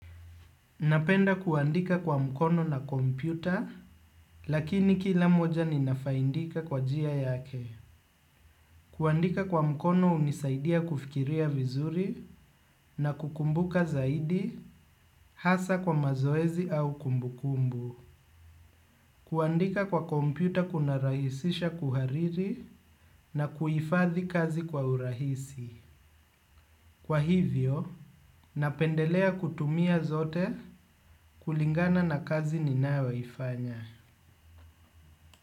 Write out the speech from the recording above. Napenda kuandika kwa mkono na kompyuta, lakini kila moja ninafaindika kwa njia yake. Kuandika kwa mkono hunisaidia kufikiria vizuri na kukumbuka zaidi hasa kwa mazoezi au kumbukumbu. Kuandika kwa kompyuta kunarahisisha kuhariri na kuhifathi kazi kwa urahisi. Kwa hivyo, napendelea kutumia zote kulingana na kazi ninayoifanya.